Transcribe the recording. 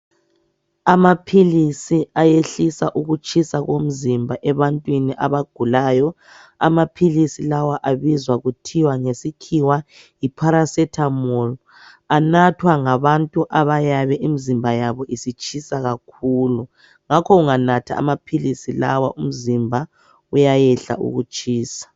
Amaphilizi ayehlisa ukutshisa komzimba ebantwini abagulayo. Amaphilizi lawa abizwa kuthiwa ngesikhiwa yiparacetamol. Anathwa ngabantu abayabe imzimba yabo isitshisa kakhulu. Ngakho unganatha amaphilizi lawa umzimba uyayehla ukutshisa.